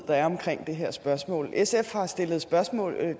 der er omkring de her spørgsmål sf har stillet spørgsmål